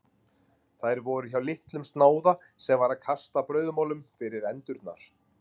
Þær voru hjá litlum snáða sem var að kasta brauðmolum fyrir endurnar.